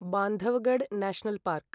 Bandhavgarh national park